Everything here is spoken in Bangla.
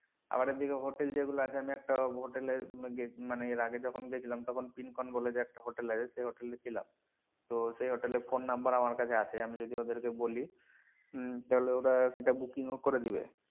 আবার এদিকে hotel যেগুলো আছে আমি একটা hotel এর মানে এর আগে যখন গিয়ে দেখলাম তখন পিনকোন বলে যে একটা hotel আছে সেই hotel এ ছিলাম তো সেই hotel এর phone number আমার কাছে আছে, আমি যদি ওদেরকে বলি উম তাহলে ওরা সেটা booking ও করে দিবে।